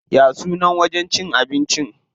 Ya sunan wajen cin abincin?